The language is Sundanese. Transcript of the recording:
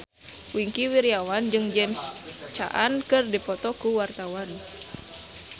Wingky Wiryawan jeung James Caan keur dipoto ku wartawan